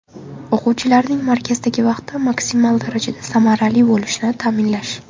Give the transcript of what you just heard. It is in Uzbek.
O‘quvchilarning markazdagi vaqti maksimal darajada samarali bo‘lishini ta’minlash.